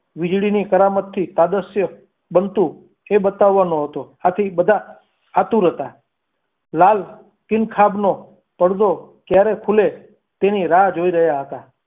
વીજળીની કરામત થી તાદ્રશ્ય બનતું તે બતાવવા નો હતો આથી બધા આતુર હતા લાલ king ખાબનો પડદો ક્યારે ખુલે તેની રાહ જોઈ રહ્યા હતા.